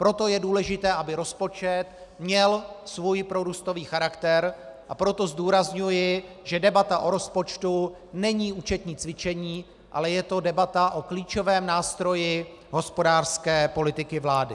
Proto je důležité, aby rozpočet měl svůj prorůstový charakter, a proto zdůrazňuji, že debata o rozpočtu není účetní cvičení, ale je to debata o klíčovém nástroji hospodářské politiky vlády.